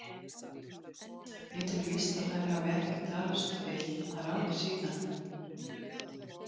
Ég tel víst að þær hafi ekki talast við að ráði síðan.